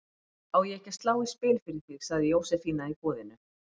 Á ég ekki að slá í spil fyrir þig? sagði Jósefína í boðinu.